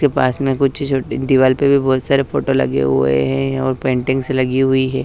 के पास में कुछ छोटी दीवाल पे भी बहोत सारे फोटो लगे हुए हैं और पेंटिंग्स से लगी हुई है।